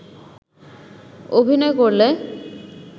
অভিনয় করলে